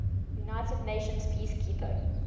united nations peacekeeping